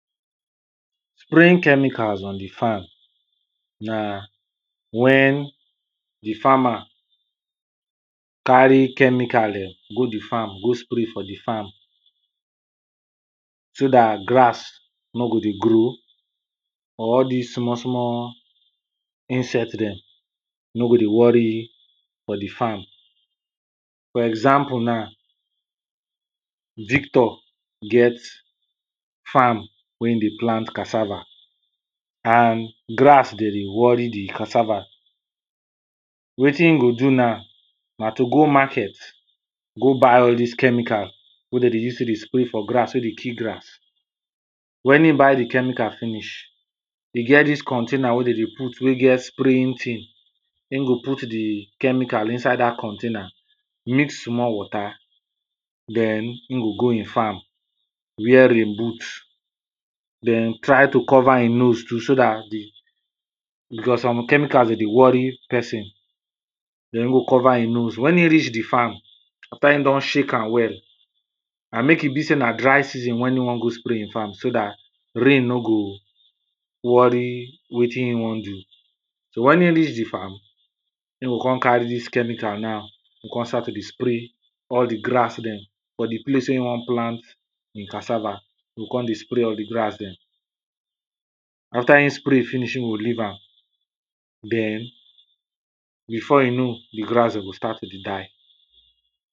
Spraying chemicals on di farm. Na wen di farmer carry chemical dem go di farm go spray for di farm so dat grass no go dey grow or all dis small small insect dem no go dey worry for di farm. For example na, victor get farm wey e dey plant cassava and grass dey dey worry di cassava wetin e go do na, na to go market go buy all dis chemical wey dem dey use take dey spray for grass, wey dey kill grass. Wen e buy di chemical finish, e get dis container wey dey dem put wey get spraying thing, im go put di chemical inside dat container, mix small water, den e go go im farm, wear rain boot, den try to cover e nose too, so dat, di becos some chemicals dey worry person, den e go cover e nose. Wen e reach di farm after e don shake am well and make e be say na dry season, wen e wan go spray e farm so dat rain no go worry wetin e wan do. So wen e reach di farm e go come carry dis chemical now, go come start to dey spray all di grass dem for di place, wen im wan plant e cassava, e go come dey spray all di grass dem, after e spray finish, e go leave am, den before im know di grass dem go start to dey die.